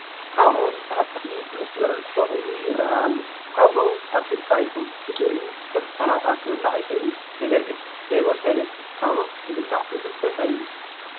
ካብሎ ዝብሃል ተኽሊ ብመስመር በቊሉ ይርአ ኣሎ፡፡ ካብሎ ኣብሲልካ ይኹን ብጥሪኡ ከም ሰላጣ ክብላዕ ይኽእል እዩ፡፡ ኣነ ግን ዘይበሰለ ካብሎ ክበልዕ ብዙሕ ደስ ኣይብለንን፡፡